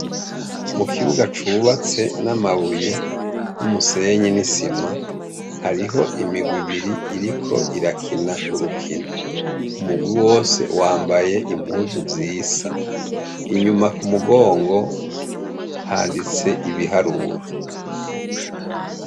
Mu kibuga cubatse n' amabuye n' umusenyi n' isima, hariho imigwi ibiri iriko irakina urukino umwugwi wese wambaye impuzu zisa inyuma ku mugongo handitse ibiharuro.